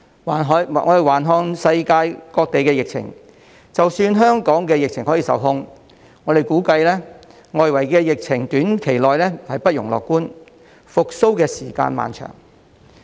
環顧世界各地的疫情，即使香港的疫情可以受控，我們估計外圍的疫情在短期內不容樂觀，復蘇時間漫長。